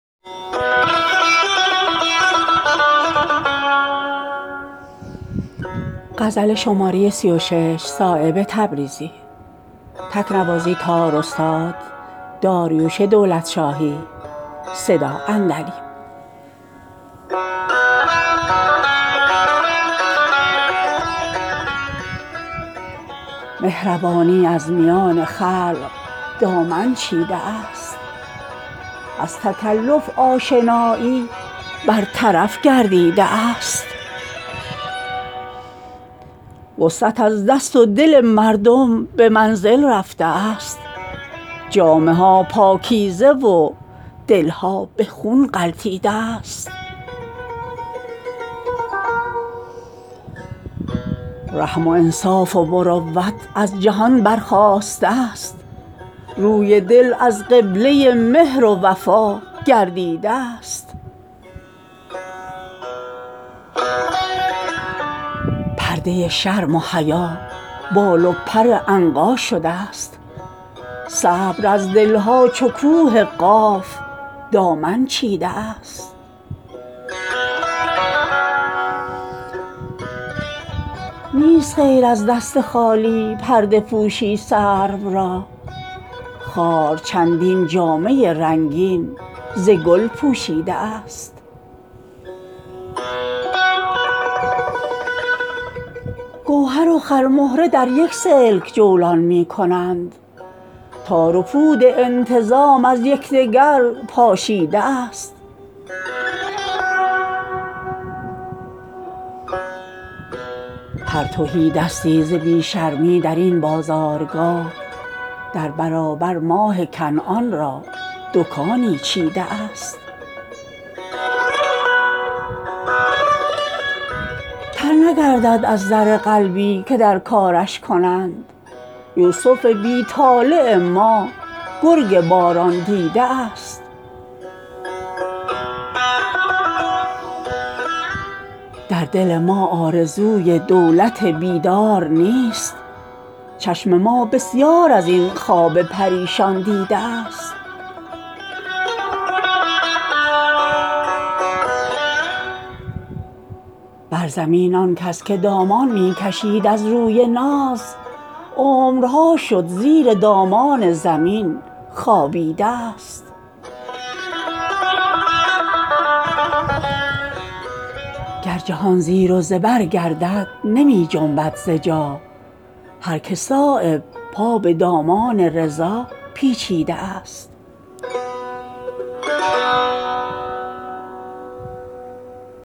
مهربانی از میان خلق دامن چیده است از تکلف آشنایی برطرف گردیده است وسعت از دست و دل مردم به منزل رفته است جامه ها پاکیزه و دلها به خون غلطیده است در بساط آفرینش یک دل بیدار نیست رگ ز غفلت در تن مردم ره خوابیده است رحم و انصاف و مروت از جهان برخاسته است روی دل از قبله مهر و وفا گردیده است پرده شرم و حیا بال و پر عنقا شده است صبر از دلها چون کوه قاف دامن چیده است نیست غیر از دست خالی پرده پوشی سرو را خار چندین جامه رنگین ز گل پوشیده است موج دریا سینه بر خاشاک می مالد ز درد رشته سر تا پای در گوهر نهان گردیده است گوهر و خرمهره در یک سلک جولان می کنند تار و پود انتظام از یکدگر پاشیده است بلبلان را خار در پیراهن است از آشیان بستر گل خوابگاه شبنم نادیده است هر تهیدستی ز بی شرمی درین بازارگاه در برابر ماه کنعان را دکانی چیده است تر نگردد از زر قلبی که در کارش کنند یوسف بی طالع ما گرگ باران دیده است خاطر آزاد ما از دور گردون فارغ است شیشه افلاک را بر طاق نسیان چیده است در دل ما آرزوی دولت بیدار نیست چشم ما بسیار ازین خواب پریشان دیده است اختر ما را کجا از خاک خواهد برگرفت آن که روی مهر تابان بر زمین مالیده است بر زمین آن کس که دامان می کشید از روی ناز عمرها شد زیر دامان زمین خوابیده است گر جهان زیر و زبر گردد نمی جنبد ز جا هر که صایب پا به دامان رضا پیچیده است